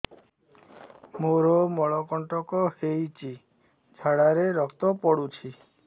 ମୋରୋ ମଳକଣ୍ଟକ ହେଇଚି ଝାଡ଼ାରେ ରକ୍ତ ପଡୁଛି